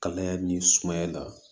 Kalaya ni sumaya la